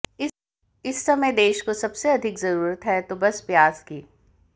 इस समय देश को सबसे अधिक जरूरत है तो बस प्याज की